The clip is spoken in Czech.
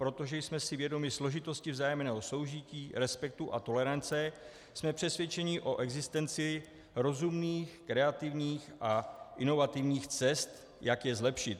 Protože jsme si vědomi složitosti vzájemného soužití, respektu a tolerance, jsme přesvědčeni o existenci rozumných, kreativních a inovativních cest, jak je zlepšit.